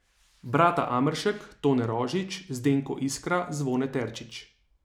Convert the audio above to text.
Brata Ameršek, Tone Rožič, Zdenko Iskra, Zvone Terčič ...